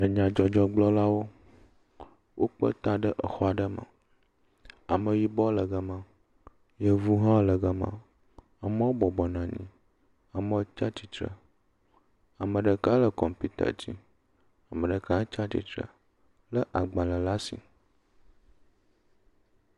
Nyadzɔdzɔgblɔlawo, wokpe ta ɖe xɔ aɖe me. Ameyibɔ le gema, yevuwo hã le gema, amewo bɔbɔ nɔ anyi, amewo tsia tsitre, ame ɖeka le kɔmpita dzi, ame ɖeka tsia tsitre lé agbalẽ ɖe asi.